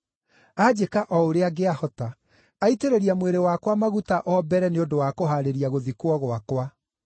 Anjĩka o ũrĩa angĩahota. Aitĩrĩria mwĩrĩ wakwa maguta o mbere nĩ ũndũ wa kũhaarĩria gũthikwo gwakwa.